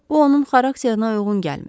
Bu onun xarakterinə uyğun gəlmir.